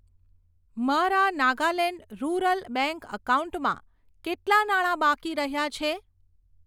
મારા Nagaland Rural Bank એકાઉન્ટમાં કેટલા નાણા બાકી રહ્યાં છે?